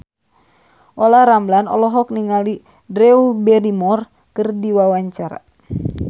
Olla Ramlan olohok ningali Drew Barrymore keur diwawancara